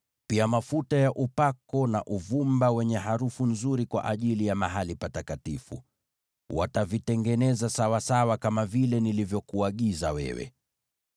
pia mafuta ya upako na uvumba wenye harufu nzuri kwa ajili ya Mahali Patakatifu. Watavitengeneza sawasawa kama vile nilivyokuagiza wewe.”